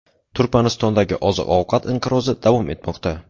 Turkmanistondagi oziq-ovqat inqirozi davom etmoqda.